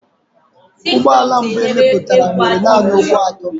Ụgbọ ala mbụ e mepụtara nwere nanị ụkwụ atọ.